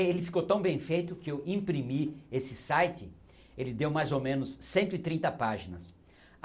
Ele ficou tão bem feito que eu imprimi esse site, ele deu mais ou menos cento e trinta páginas.